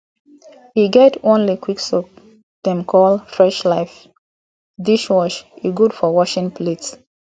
e get one liquid soap dem call freshlife dishwash e gud for washing plates